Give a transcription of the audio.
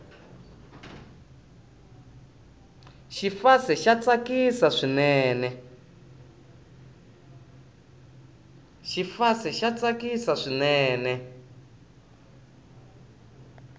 xifase xa tsakisa swinene